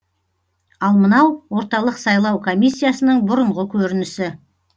ал мынау орталық сайлау комиссиясының бұрынғы көрінісі